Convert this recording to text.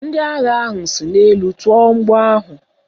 Ndị agha ahụ si n'elu tụọ mgbọ ahụ.